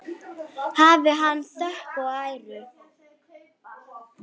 Hafi hann þökk og æru!